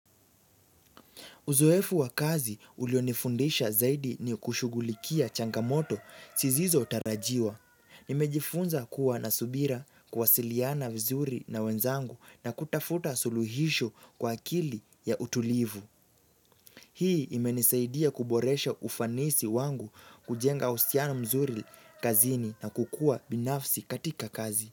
Uzoefu wa kazi ulionifundisha zaidi ni kushughulikia changamoto sizizo tarajiwa. Nimejifunza kuwa na subira, kuwasiliana vizuri na wenzangu, na kutafuta suluhisho kwa akili ya utulivu. Hii imenisaidia kuboresha ufanisi wangu, kujenga husiano mzuri kazini na kukua binafsi katika kazi.